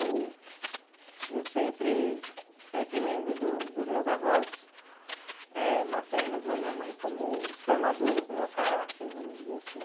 Eu sempre sempre lembro do dos meus avós eh maternos, da minha mãe, como os formadores do meu caráter, vamos dizer assim.